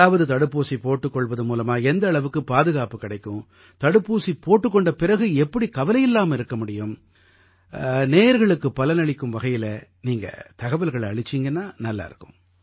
அதாவது தடுப்பூசி போட்டுக் கொள்வது மூலமா எந்த அளவுக்கு பாதுகாப்பு கிடைக்கும் தடுப்பூசி போட்டுக் கொண்ட பிறகு எப்படி கவலையில்லாம இருக்க முடியும் நேயர்களுக்குப் பலனளிக்கும் வகையில நீங்க தகவல்களை அளிச்சீங்கன்னா நல்லா இருக்கும்